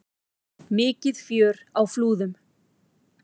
Mikið fjör á Flúðum